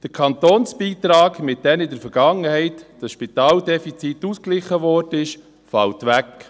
Der Kantonsbeitrag, mit dem in der Vergangenheit das Spitaldefizit ausgeglichen wurde, fällt weg.